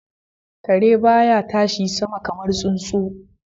Kare ba ya tashi sama kamar tsuntsu.